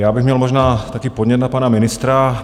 Já bych měl možná taky podnět na pana ministra.